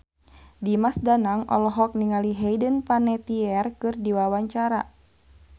Dimas Danang olohok ningali Hayden Panettiere keur diwawancara